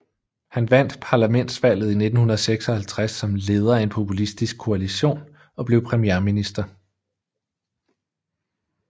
Han vandt parlamentsvalget i 1956 som leder af en populistisk koalition og blev premierminister